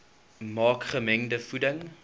maak gemengde voeding